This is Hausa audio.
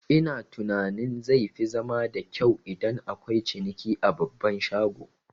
Ina tunanin zai fi zama da kyau idan akwai ciniki a babban shago